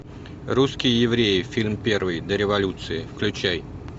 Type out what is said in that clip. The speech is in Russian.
русские евреи фильм первый до революции включай